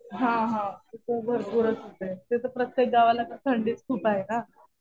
हा हा. ते तर भरपूरच होतंय. ते तर प्रत्येक गावाला थंडीचं खूप आहे ना.